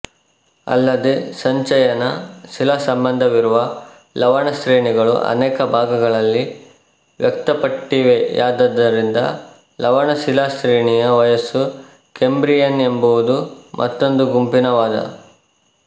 ಅಲ್ಲದೆ ಸಂಚಯನ ಶಿಲಾಸಂಬಂಧವಿರುವ ಲವಣಶ್ರೇಣಿಗಳು ಅನೇಕ ಭಾಗಗಳಲ್ಲಿ ವ್ಯಕ್ತಪಟ್ಟಿವೆಯಾದ್ದರಿಂದ ಲವಣ ಶಿಲಾಶ್ರೇಣಿಯ ವಯಸ್ಸು ಕೇಂಬ್ರಿಯನ್ ಎಂಬುದು ಮತ್ತೊಂದು ಗುಂಪಿನ ವಾದ